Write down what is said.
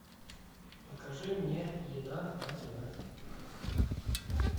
покажи мне еда на тв